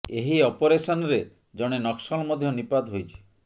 ଏହି ଅପରେସନ୍ ରେ ଜଣେ ନକ୍ସଲ ମଧ୍ୟ ନିପାତ ହୋଇଛି